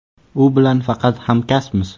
“U bilan faqat hamkasbmiz.